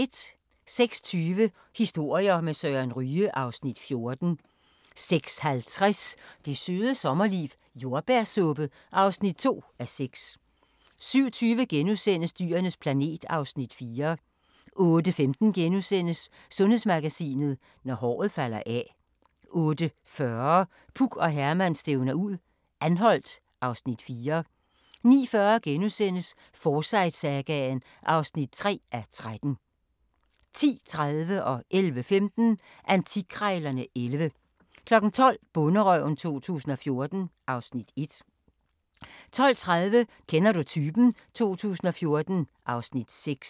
06:20: Historier med Søren Ryge (Afs. 14) 06:50: Det Søde Sommerliv - Jordbærsuppe (2:6) 07:20: Dyrenes planet (Afs. 4)* 08:15: Sundhedsmagasinet: Når håret falder af * 08:40: Puk og Herman stævner ud - Anholt (Afs. 4) 09:40: Forsyte-sagaen (3:13)* 10:30: Antikkrejlerne XI 11:15: Antikkrejlerne XI 12:00: Bonderøven 2014 (Afs. 1) 12:30: Kender du typen? 2014 (Afs. 6)